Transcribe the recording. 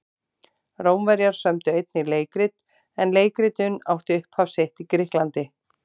Rómverjar sömdu einnig leikrit en leikritun átti upphaf sitt í Grikklandi.